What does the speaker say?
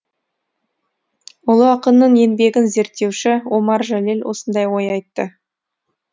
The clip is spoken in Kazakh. ұлы ақынның еңбегін зерттеуші омар жәлел осындай ой айтты